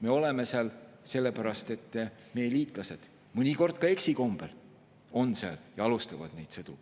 Me oleme seal sellepärast, et meie liitlased – mõnikord ka eksikombel – on seal ja alustavad neid sõdu.